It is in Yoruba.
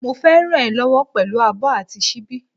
Mo fé ràn e lówó pèlú abó àti síbí